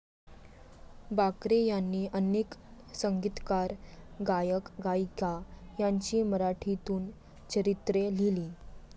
बाकरे यांनी अनेक संगीतकार, गायक, गायिका, यांची मराठीतून चरित्रे लिहिली.